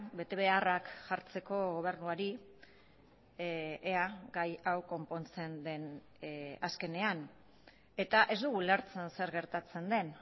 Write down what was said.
betebeharrak jartzeko gobernuari ea gai hau konpontzen den azkenean eta ez dugu ulertzen zer gertatzen den